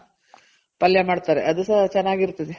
ಪಲ್ಯ ಮಾಡ್ತಾರೆ ಅದು ಸಹ ಚೆನಾಗಿರ್ತದೆ .